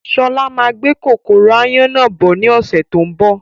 Sọlá máa gbé kòkòrò áyán náà bọ̀ ni ọ̀sẹ̀ tó ń bọ̀